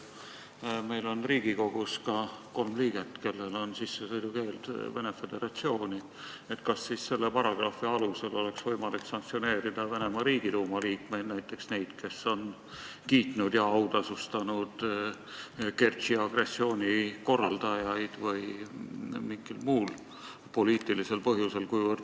Ja kuna meil on Riigikogus kolm liiget, kellel on Venemaa Föderatsiooni sissesõidu keeld, küsin, kas selle paragrahvi alusel oleks võimalik sanktsioneerida Venemaa Riigiduuma liikmeid, näiteks neid, kes on kiitnud ja autasustanud Kertši agressiooni korraldajaid, või mingil muul poliitilisel põhjusel?